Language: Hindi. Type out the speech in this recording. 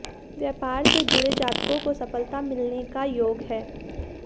व्यापार से जुड़े जातकों को सफलता मिलने का योग है